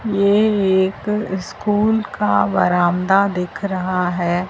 ये एक स्कूल का बरामदा दिख रहा है।